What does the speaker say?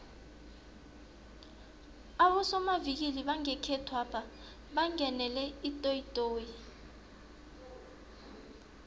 abosomavikili bangekhethwapha bangenele itoyitoyi